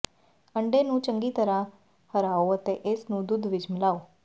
ਅੰਡੇ ਨੂੰ ਚੰਗੀ ਤਰ੍ਹਾਂ ਹਰਾਓ ਅਤੇ ਇਸ ਨੂੰ ਦੁੱਧ ਵਿਚ ਮਿਲਾਓ